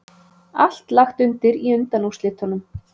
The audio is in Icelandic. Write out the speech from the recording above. Allt lagt undir í undanúrslitunum